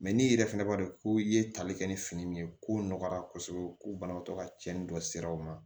n'i yɛrɛ fɛnɛ b'a dɔn ko i ye tali kɛ ni fini min ye ko nɔgɔyara kosɛbɛ ko banabaatɔ ka cɛnni dɔ sera u ma